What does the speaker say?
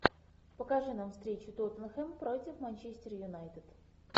покажи нам встречу тоттенхэм против манчестер юнайтед